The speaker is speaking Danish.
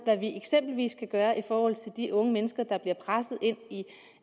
hvad vi eksempelvis kan gøre i forhold til de unge mennesker der bliver presset ind i et